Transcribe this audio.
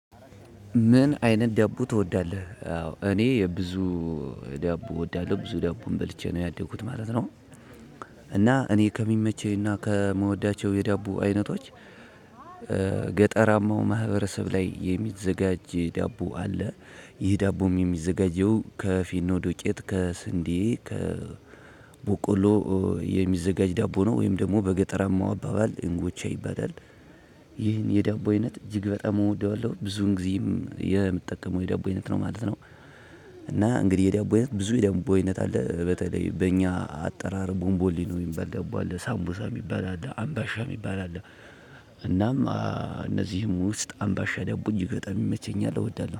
ምን አይነት ዳቦ ትወዳለህ? እኔ የብዙ ዳቦ እወዳለሁ ብዙ ዳቦም በልቼ ነው ያደኩት ማለት ነው። እና እኔ ከሚመቸኝና ከምወዳቸው የዳቦ አይነቶች። ገጠራማው ማህበረሰብ ላይ የሚዘጋጅ ዳቦ አለ። ይህ ዳቦም የሚዘጋጀው ከፍርኖ ዱቄት ከስንዴ ከበቆሎ የሚዘጋጅ ዳቦ ነው ወይም ደግሞ በገጠራማው አባባል እንጎቻ ይባላል። ይህን የዳቦ አይነት እጅግ በጣም እወደዋለሁ ብዙን ጊዜም የምትጠቀመው የዳቦ አይነት ነው ማለት ነው። እና እንግዲህ ይህ የዳቦ አይነት ብዙ የዳቦ አይነት አለ በተለይ በእኛ አጠራር ቦንቦሊ ነው የሚባል ገባለት ሳምቦሳ የሚባል አለ አምባሻ የሚባል አለ። እናም እነዚህም ውስጥ አምባሻ ደቡን በጣም ይመቸኛል እወዳለሁ